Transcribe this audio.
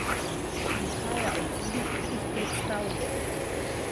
Prihaja od zunaj, izpred stavbe.